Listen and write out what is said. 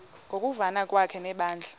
ngokuvana kwakhe nebandla